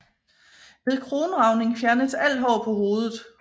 Ved kronragning fjernes alt hår på hovedet